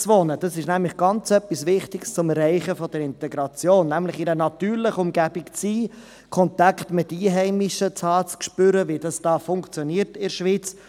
Selbstständiges Wohnen ist nämlich etwas ganz Wichtiges zum Erreichen der Integration, nämlich in einer natürlichen Umgebung zu sein, Kontakt zu den Einheimischen zu haben, zu spüren, wie es funktioniert in der Schweiz.